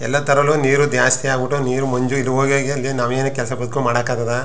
ಎಲ್ಲ ತರಲ್ಲೂ ನೀರು ಜಾಸ್ತಿ ಆಗ್ಬಿಟ್ಟು ನೀರು ಮಂಜು ಇದು ಹೋಗಿ ಹೋಗಿ ಅಲ್ಲಿ ನಾವೇನು ಕೆಲಸ ಕಲ್ತ್ಕೋ ಮಾಡೋಕ್ಕಾಗದಾ .